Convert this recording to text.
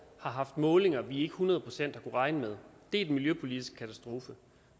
har haft målinger vi ikke hundrede procent har kunnet regne med det er den miljøpolitiske katastrofe